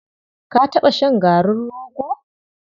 Ka taɓa shan garin rogo?